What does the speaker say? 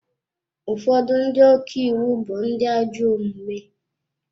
Ụfọdụ ndị ọka iwu bụ ndị ajọ omume.